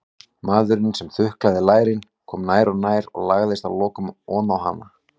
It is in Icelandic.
Maðurinn sem þuklaði lærin kom nær og nær og lagðist að lokum oná hana.